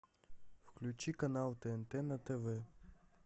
включи канал тнт на тв